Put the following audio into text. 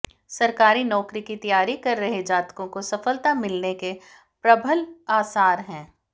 सरकारी नौकरी की तैयारी कर रहे जातकों को सफलता मिलने के प्रबल आसार हैं